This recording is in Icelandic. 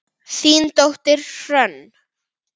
Þín dóttir, Hrönn.